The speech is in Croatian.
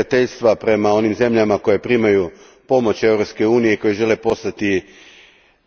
Želim Vas pitati Otkuda Vam toliko neprijateljstva prema onim zemljama koje primaju pomoć Europske unije, koje žele postati